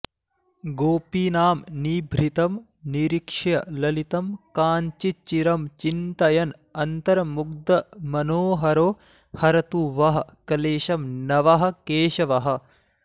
गोपीनां निभृतं निरीक्ष्य ललितं काञ्चिच्चिरं चिन्तयन् अन्तर्मुग्धमनोहरो हरतु वः क्लेशं नवः केशवः